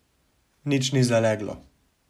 Nič ni zaleglo.